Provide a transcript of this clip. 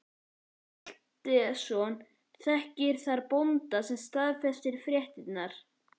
Ólafur Hjaltason þekkti þar bóndann sem staðfesti fréttirnar.